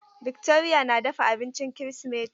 Victoria na dafa abincin Kirsimeti.